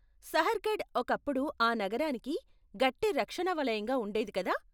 సహర్గఢ్ ఒకప్పుడు ఆ నగరానికి గట్టి రక్షణ వలయంగా ఉండేది, కదా?